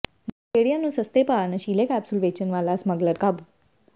ਨਸ਼ੇੜੀਆਂ ਨੂੰ ਸਸਤੇ ਭਾਅ ਨਸ਼ੀਲੇ ਕੈਪਸੂਲ ਵੇਚਣ ਵਾਲਾ ਸਮੱਗਲਰ ਕਾਬੂ